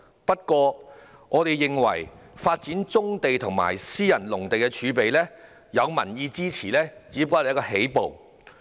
不過，我們認為，發展棕地及私人農地儲備，有民意支持只是起步。